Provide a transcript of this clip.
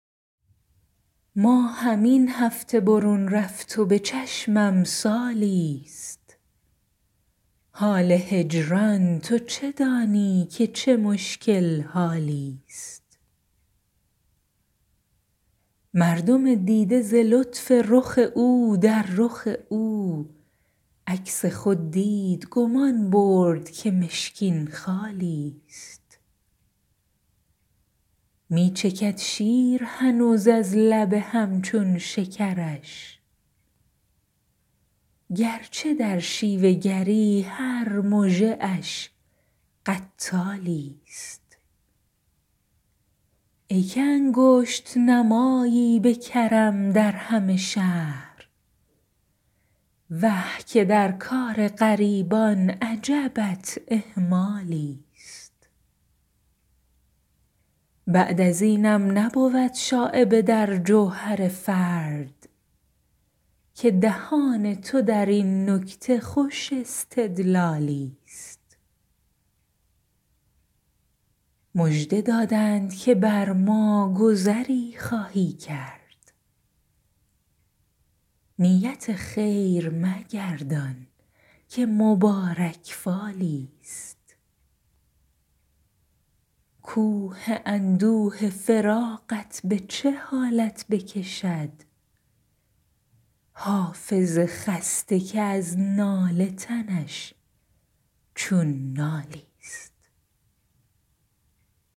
ماهم این هفته برون رفت و به چشمم سالی ست حال هجران تو چه دانی که چه مشکل حالی ست مردم دیده ز لطف رخ او در رخ او عکس خود دید گمان برد که مشکین خالی ست می چکد شیر هنوز از لب هم چون شکرش گر چه در شیوه گری هر مژه اش قتالی ست ای که انگشت نمایی به کرم در همه شهر وه که در کار غریبان عجبت اهمالی ست بعد از اینم نبود شایبه در جوهر فرد که دهان تو در این نکته خوش استدلالی ست مژده دادند که بر ما گذری خواهی کرد نیت خیر مگردان که مبارک فالی ست کوه اندوه فراقت به چه حالت بکشد حافظ خسته که از ناله تنش چون نالی ست